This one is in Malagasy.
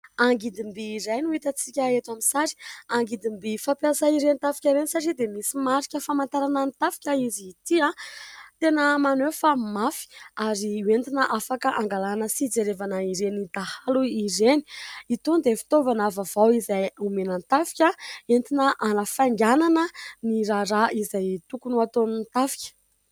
Angidimby iray no hitantsika eto amin'ny sary. Angidimby fampiasa ireny tafika ireny satria dia misy marika famantarana ny tafika izy ity ; tena maneho fa mafy ary hoentina afaka hangalana sy hijerevana ireny dahalo ireny. Itony dia fitaovana vaovao izay omena ny tafika entina hanafainganana ny raharaha izay tokony ataon'ny tafika.